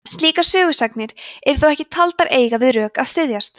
slíkar sögusagnir eru þó ekki taldar eiga við rök að styðjast